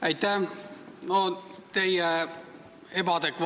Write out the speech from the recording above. Aitäh!